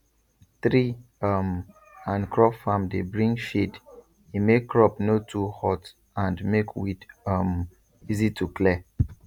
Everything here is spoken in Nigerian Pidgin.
tree um and crop farm dey bring shade e make crop no too hot and make weed um easy to clear